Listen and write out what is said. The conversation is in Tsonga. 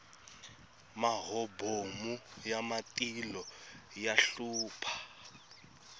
mahobomu ya matilo ya hlupha